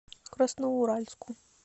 красноуральску